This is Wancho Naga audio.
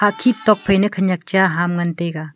hakhid tokphai na khanyak cha ham ngantaiga.